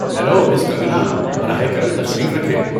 Hello, miss Kangana! براہ کرم تشریف رکھیں۔